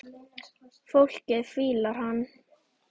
Fólkið fílar hana.